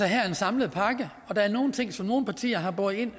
her er en samlet pakke og der er nogle ting som nogle partier har båret ind